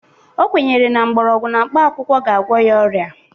O kwenyere na mgbọrgwụ na mkpakwụkwọ ga-agwọ ya ọrịa.